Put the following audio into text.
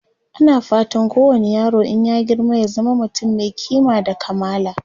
ana fatan kowani yaro in ya girma ya zama mutum Mai kima da kamala